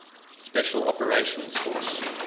special operations force